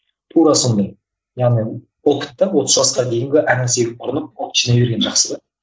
тура сондай яғни опыт та отыз жасқа дейінгі әр нәрсеге ұрынып опыт жинай берген жақсы да